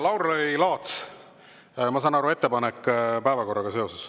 Lauri Laats, ma saan aru, et ettepanek päevakorraga seoses.